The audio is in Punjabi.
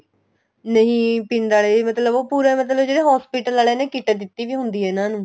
ਨਹੀਂ ਪਿੰਡ ਵਾਲੇ ਮਤਲਬ ਉਹ ਪੂਰਾ ਮਤਲਬ ਜਿਹੜੇ hospital ਵਾਲਿਆ ਨੇ kit ਦਿੱਤੀ ਪਈ ਹੁੰਦੀ ਏ ਇਹਨਾ ਨੂੰ